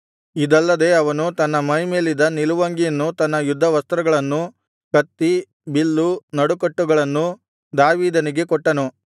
ಇದಲ್ಲದೆ ಅವನು ತನ್ನ ಮೈಮೇಲಿದ್ದ ನಿಲುವಂಗಿಯನ್ನು ತನ್ನ ಯುದ್ಧವಸ್ತ್ರಗಳನ್ನು ಕತ್ತಿ ಬಿಲ್ಲು ನಡುಕಟ್ಟುಗಳನ್ನೂ ದಾವೀದನಿಗೆ ಕೊಟ್ಟನು